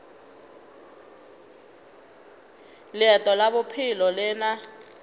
leeto la bophelo le na